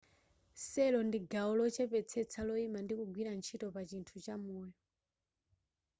cell ndi gawo lochepetsetsa loima ndi kugwira ntchito pa chinthu cha moyo